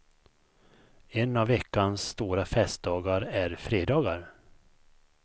En av veckans stora festdagar är fredagar.